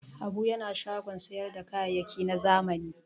Habu yana shagon sayar da kayayyaki na zamani.